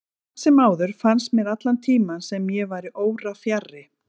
Samt sem áður fannst mér allan tímann sem ég væri órafjarri.